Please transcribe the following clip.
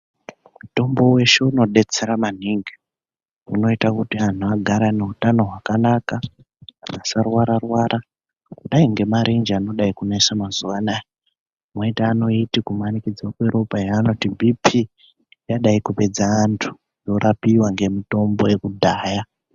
Mutombo weshe unodetsera maningi unoite kuti antu agare anehutano hwakanaka, asarwara-rwara kudai ngemarenje anodai kunesa mazuva anaya. Moita anoiti kumanikidzwa kweropa yavanoti bhiiphii, yadai kupedza vantu, yorapiwa ngemitombo yekudhaya.